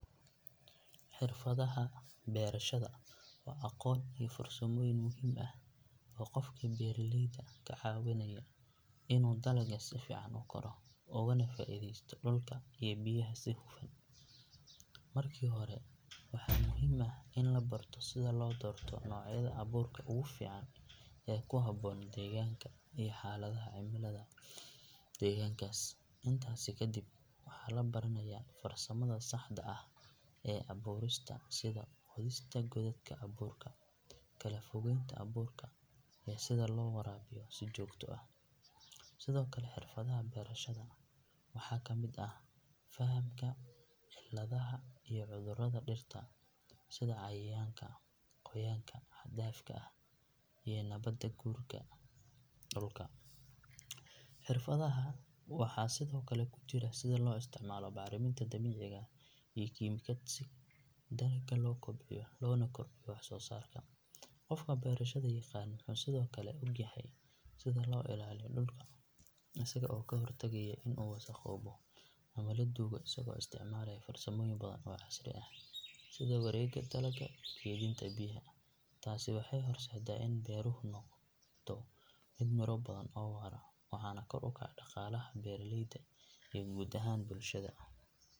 Xirfadaha beerashada waa aqoon iyo farsamooyin muhiim ah oo qofka beeralayda ka caawinaya inuu dalaggiisa si fiican u koro ugana faa’iidaysto dhulka iyo biyaha si hufan. Markii hore waxaa muhiim ah in la barto sida loo doorto noocyada abuurka ugu fiican ee ku habboon deegaanka iyo xaaladaha cimilada deegaankaas. Intaasi kadib waxaa la baranayaa farsamada saxda ah ee abuurista sida qodista godadka abuurka, kala fogeynta abuurka iyo sida loo waraabiyo si joogto ah. Sidoo kale xirfadaha beerashada waxaa ka mid ah fahamka cilladaha iyo cudurada dhirta sida cayayaanka, qoyaanka xad dhaafka ah iyo nabaad guurka dhulka. Xirfadaha waxaa sidoo kale ku jira sida loo isticmaalo bacriminta dabiiciga ah iyo kiimikaad si dalagga loo kobciyo loona kordhiyo wax soo saarka. Qofka beerashada yaqaan wuxuu sidoo kale ogyahay sida loo ilaaliyo dhulka isaga oo ka hortagaya in uu wasakhoobo ama la duugo isagoo isticmaalaya farsamooyin badan oo casri ah sida wareegga dalagga iyo keydinta biyaha. Taasi waxay horseedaa in beeruhu noqdo mid miro badan oo waara waxaana kor u kaca dhaqaalaha beeralayda iyo guud ahaan bulshada.